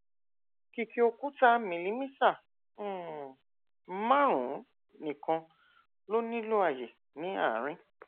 kìkì òkúta milimítà um márùnún nìkan ló nílò àyè ní àárín